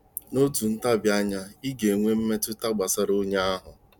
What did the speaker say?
N'otu ntabi anya, ị ga-enwe mmetụta gbasara onye ahụ.